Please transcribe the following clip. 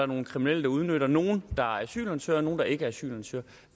nogle kriminelle udnytter nogle der er asylansøgere nogle der ikke er asylansøgere